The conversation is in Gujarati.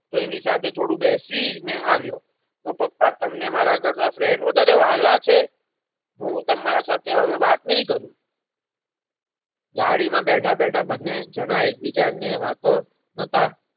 તો એની સાથે થોડું બેસી ને આવ્યો તો પપ્પા તમને મારા કરતા તમને friend વધારે વહાલા છે. હું તમારા સાથે હવે વાત નહિ કરું ગાડીમાં બેઠા બેઠા બંને જણા એકબીજા ને વાતો હતા